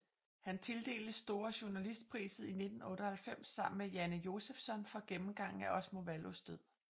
Han tildeltes Stora journalistpriset 1998 sammen med Janne Josefsson for gennemgangen af Osmo Vallos død